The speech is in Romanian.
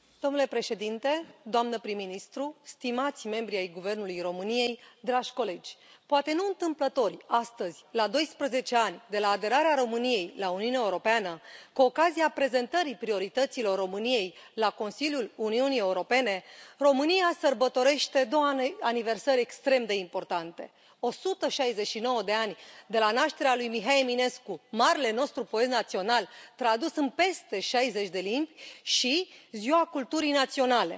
Domnule președinte, doamnă prim ministru, stimați membri ai Guvernului României, dragi colegi, poate nu întâmplător, astăzi, la doisprezece ani de la aderarea României la Uniunea Europeană, cu ocazia prezentării priorităților României la Consiliul Uniunii Europene, România sărbătorește două aniversări extrem de importante 169 de ani de la nașterea lui Mihai Eminescu, marele nostru poet național, tradus în peste șaizeci de limbi, și Ziua Culturii Naționale.